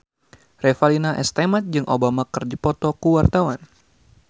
Revalina S. Temat jeung Obama keur dipoto ku wartawan